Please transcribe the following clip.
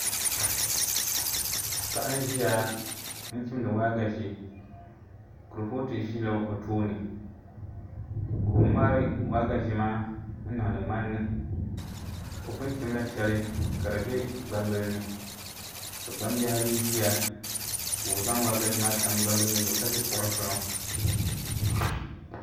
Paɣa n ʒiya n chimdi waagashe kurifooti ʒila o tooni ka o ŋmaari waagashe maa n niŋdi ŋmanni o pun chimla shɛli ka di bɛ gbambili ni ka gbambihi ayi ʒiya ka o zaŋ waagashe maa tam hbambili yini zuɣu ka ʒi kuɣu zuɣu